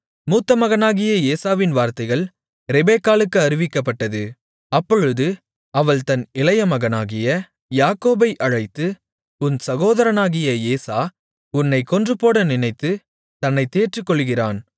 மூத்த மகனாகிய ஏசாவின் வார்த்தைகள் ரெபெக்காளுக்கு அறிவிக்கப்பட்டது அப்பொழுது அவள் தன் இளைய மகனாகிய யாக்கோபை அழைத்து உன் சகோதரனாகிய ஏசா உன்னைக் கொன்றுபோட நினைத்து தன்னைத் தேற்றிக்கொள்ளுகிறான்